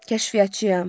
Kəşfiyyatçıyam.